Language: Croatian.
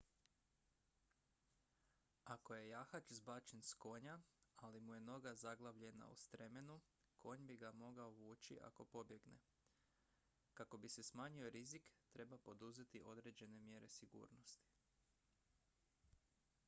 ako je jahač zbačen s konja ali mu je noga zaglavljena u stremenu konj bi ga mogao vući ako pobjegne kako bi se smanjio rizik treba poduzeti određene mjere sigurnosti